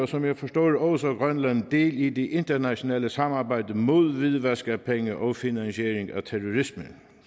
som jeg forstår det også grønland del i det internationale samarbejde mod hvidvask af penge og finansiering af terrorisme